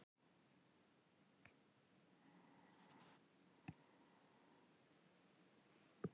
Ekki svo